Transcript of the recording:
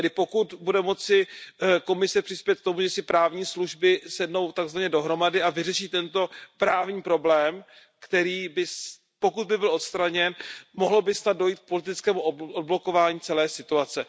Tedy pokud bude moci Komise přispět k tomu, že si právní služby sednou tak zvaně dohromady a vyřeší tento právní problém, který pokud by byl odstraněn, mohlo by snad dojít k politickému odblokování celé situace.